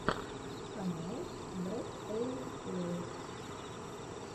канал брэтэйлэй